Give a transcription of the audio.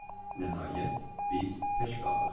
Nəhayət, biz tək qaldıq.